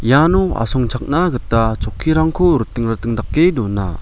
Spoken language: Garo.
iano asongchakna gita chokkirangko riting riting dake dona.